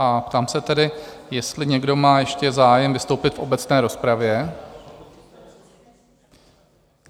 A ptám se tedy, jestli někdo má ještě zájem vystoupit v obecné rozpravě?